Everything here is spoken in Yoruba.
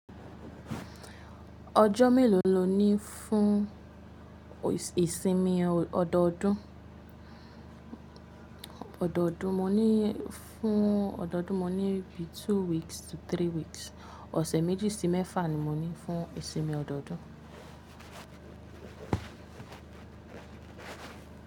Ọjọ́ mélòó lo ní fún ìsinmi ọdọọdún? Ọdọọdún mo ní fún ọdọọdún mo ní bí two weeks to three weeks. Ọ̀sẹ̀ méjì sí mẹ́fà ni mo ní fún ìsinmi ọdọọdún.